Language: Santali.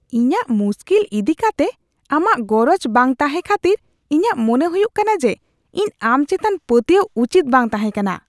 ᱤᱧᱟᱹᱜ ᱢᱩᱥᱠᱤᱞ ᱤᱫᱤ ᱠᱟᱛᱮ ᱟᱢᱟᱜ ᱜᱚᱨᱚᱡ ᱵᱟᱝ ᱛᱟᱸᱦᱮ ᱠᱷᱟᱹᱛᱤᱨ ᱤᱧᱟᱜ ᱢᱚᱱᱮ ᱦᱩᱭᱩᱜ ᱠᱟᱱᱟ ᱡᱮ, ᱤᱧ ᱟᱢ ᱪᱮᱛᱟᱱ ᱯᱟᱹᱛᱭᱟᱹᱣ ᱩᱪᱤᱛ ᱵᱟᱝ ᱛᱟᱦᱮᱸᱠᱟᱱᱟ ᱾